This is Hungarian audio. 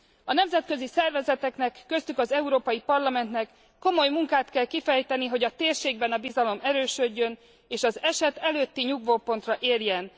A nemzetközi szervezeteknek, köztük az Európai Parlamentnek komoly munkát kell kifejteni, hogy a térségben a bizalom erősödjön, és az eset előtti nyugvópontra érjen.